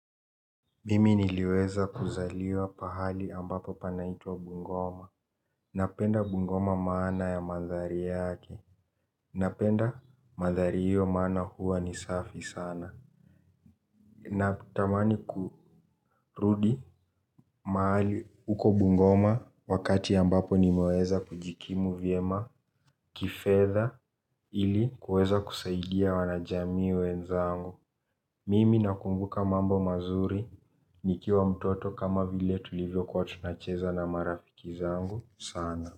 Mimi niliweza kuzaliwa pahali ambapo panaitwa Bungoma. Napenda Bungoma maana ya mandhari yake. Napenda mandhari hiyo maana huwa ni safi sana. Natamani kurudi mahali uko Bungoma wakati ambapo nimeweza kujikimu vyema kifedha ili kuweza kusaidia wanajamii wenzangu. Mimi nakumbuka mambo mazuri, nikiwa mtoto kama vile tulivyokuwa tunacheza na marafiki zangu, sana.